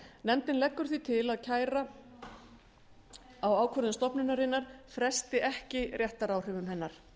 nefndin leggur því til að kæra á ákvörðun stofnunarinnar fresti ekki réttaráhrifum hennar